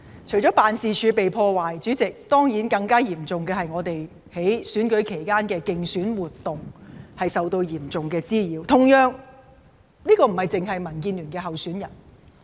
除了辦事處被破壞外，主席，更加嚴重的事情，當然就是我們在選舉期間的競選活動受到嚴重滋擾，而同樣地，這亦並非單單發生在民建聯的候選人身上。